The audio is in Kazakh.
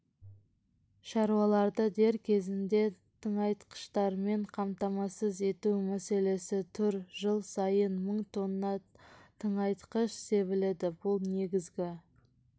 шаруаларды дер кезінде тыңайтқыштармен қамтамасыз ету мәселесі тұр жыл сайын мың тонна тыңайтқыш себіледі бұл негізгі